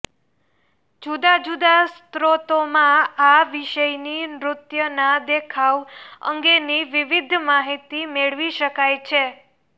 જુદા જુદા સ્ત્રોતોમાં આ વિષયની નૃત્યના દેખાવ અંગેની વિવિધ માહિતી મેળવી શકાય છે